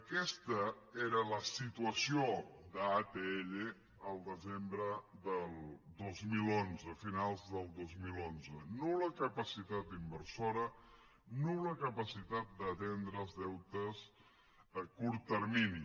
aquesta era la situació d’atll el desembre del dos mil onze a finals del dos mil onze nul·la capacitat inversora nul·la capacitat d’atendre els deutes a curt termini